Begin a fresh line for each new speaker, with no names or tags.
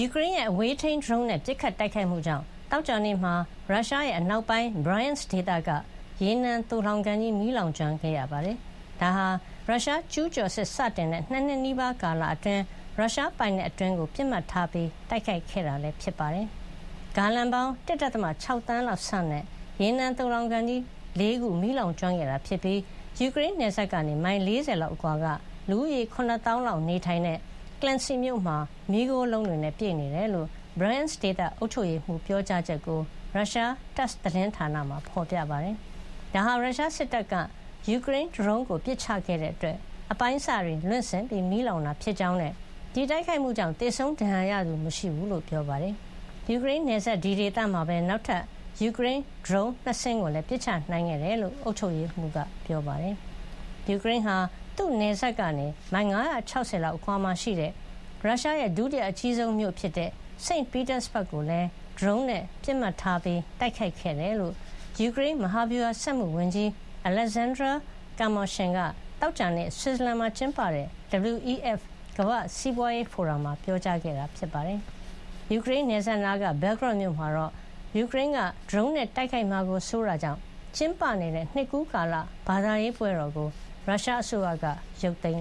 ူကရိန်းရဲ့ အဝေးထိန်း ဒရုန်းနဲ့ ပစ်ခတ်တိုက်ခိုက်မှုကြောင့် သောကြာနေ့မှာ ရုရှားရဲ့ အနောက်ပိုင်း ဘရိုင်ယန့်စ် ဒေသက ရေနံသိုလှောင်ကန်ကြီး မီးလောင်ကျွမ်း ခဲ့ရပါတယ်။ ဒါဟာ ရုရှားကျူးကျော်စစ်စတင်တဲ့ ၂ နှစ်နီးပါးကာလ အတွင်း ရုရှားပိုင်နက် အတွင်းပိုင်းကို ပစ်မှတ်ထား တိုက်ခိုက်ခဲ့တာလည်း ဖြစ်ပါတယ်။ ဂါလံပေါင်း ၁.၆ သန်းလောက်ဆန့်တဲ့ ရေနံသိုလှောင်ကန်ကြီး ၄ ခု မီးလောင်ကျွမ်းခဲ့တာ ဖြစ်ပြီး ယူကရိန်းနယ်စပ်ကနေ မိုင် ၄၀ လောက်အကွာက လူဦးရေ ၇ သောင်းလောက်နေထိုင်တဲ့ ကလင့်တ်စီ မြို့မှာ မီးခိုးလုံးတွေနဲ့ ပြည့်နေတယ်လို့ ဘရိုင်ယန့်စ် ဒေသအုပ်ချုပ်ရေးမှုး ပြောကြားချက်ကို ရုရှား Tass သတင်းဌာနမှာ ဖေါ်ပြပါတယ်။ ဒါဟာ ရုရှားစစ်တပ်က ယူကရိန်းဒရုန်းကို ပစ်ချတဲ့ အတွက် အပိုင်းအစတွေ လွင့်စင်ပြီး မီးလောင်တာ ဖြစ်ကြောင်းနဲ့ ဒီတိုက်ခိုက်မှုကြောင့် သေဆုံးဒဏ်ရာရသူ မရှိဘူးလို့ ပြောပါတယ်။ ယူကရိန်းနယ်စပ် ဒီဒေသမှာပဲ နောက်ထပ် ယူကရိန်း ဒရုန်း ၂ စင်းကိုလည်း ပစ်ချနိုင်ခဲ့တယ်လို့ လည်း အုပ်ချုပ်ရေးမှုးက ပြောပါတယ်။ ယူကရိန်းဟာ သူ့နယ်စပ်ကနေ မိုင် ၅၆၀ လောက် အကွာမှာရှိတဲ့ ရုရှားရဲ့ ဒုတိယအကြီးဆုံးမြို့ဖြစ်တဲ့ St. Petersburg ကိုလည်း ဒရုန်းနဲ့ ပစ်မှတ်ထား တိုက်ခိုက်ခဲ့တယ်လို့ ယူကရိန်း မဟာဗျူဟာစက်မှု ဝန်ကြီး Oleksandr Kamyshin က သောကြာနေ့ ဆွစ်ဇလန်မှာ ကျင်းပနေတဲ့ WEF ကမ္ဘာ့စီးပွါးရေးဖိုရမ် မှာပြောကြားခဲ့တာပါ။ ယူကရိန်းနယ်စပ်နားက Belgorod မြို့မှာတော့ ယူကရိန်းက ဒရုန်းနဲ့ တိုက်ခိုက်မှာကို စိုးတဲ့ အတွက် ကျင်းပနေကျ နှစ်ကူးကာလ ဘာသာရေးပွဲတော်ကို ရုရှားအစိုးရက ဖျက်သိမ်